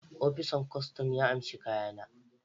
opisan kostom ya amshe kayana